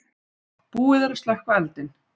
Búið að slökkva eldinn